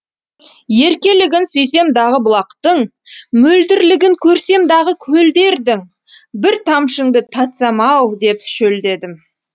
еркелігін сүйсем дағы бұлақтың мөлдірлігін көрсем дағы көлдердің бір тамшыңды татсам ау деп шөлдедім